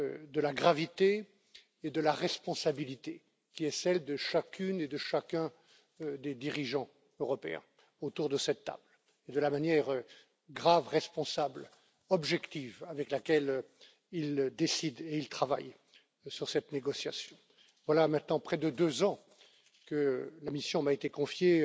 de la gravité et de la responsabilité qui est celle de chacune et de chacun des dirigeants européens autour de cette table, et de la manière grave, responsable, objective avec laquelle ils décident et ils travaillent sur cette négociation. Voilà maintenant près de deux ans que la mission de conduire cette négociation m'a été confiée